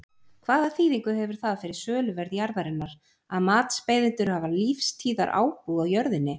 Hvaða þýðingu hefur það fyrir söluverð jarðarinnar að matsbeiðendur hafa lífstíðarábúð á jörðinni?